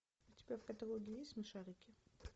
у тебя в каталоге есть смешарики